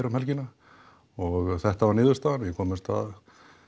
um helgina og þetta varð niðurstaðan við komumst að